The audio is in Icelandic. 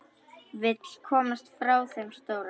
Vill komast frá þeim stóra.